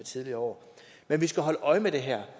tidligere år men vi skal holde øje med det her